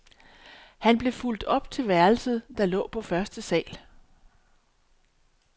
Han blev fulgt op til værelset, der lå på første sal.